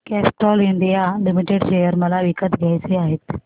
Castrol India limited share मला विकत घ्यायचे आहेत